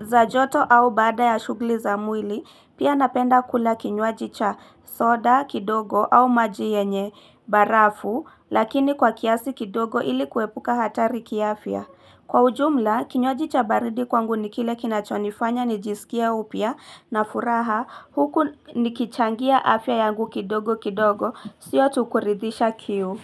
za joto au bada ya shughuli za mwili, pia napenda kula kinywaji cha soda, kidogo au maji yenye, barafu, lakini kwa kiasi kidogo ili kuepuka hatari kiafya. Kwa ujumla, kinywalaji cha baridi kwangu nikile kinachonifanya, nijisikia upia, na furaha, huku nikichangia afya yangu kidogo kidogo, sio tukuridisha kiu.